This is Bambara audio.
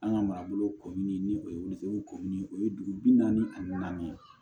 An ka marabolo kɔmini ni o ye wili ko ɲini o ye dugu bi naani ani naani ye